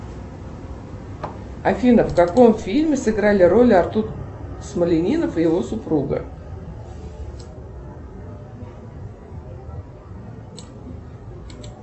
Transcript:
афина в каком фильме сыграли роли артур смолянинов и его супруга